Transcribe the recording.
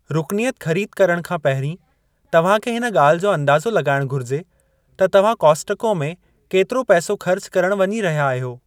रुकनियतु ख़रीदु करणु खां पहिरीं, तव्हांखे हिन गा॒ल्हि जो अंदाज़ो लगा॒इणु घुरिजे त तव्हां कॉस्टको में कतिरो पैसो ख़र्चु करणु वञी रहिया आहियो ।